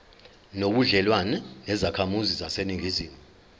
nobudlelwane nezakhamizi zaseningizimu